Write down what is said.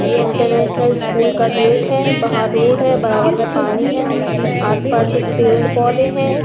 ये international school का gate है बाहर रोड है बराबर में पानी है आसपास पेड़ पौधे हैं।